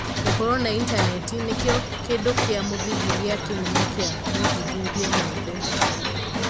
Gũkorwo na intaneti nĩkĩo kĩndũ kĩa mũthingi gĩa kĩhumo kĩa mothuthuria mothe.